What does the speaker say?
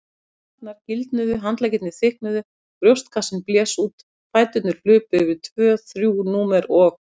Herðarnar gildnuðu, handleggirnir þykknuðu, brjóstkassinn blés út, fæturnir hlupu yfir tvö þrjú númer og.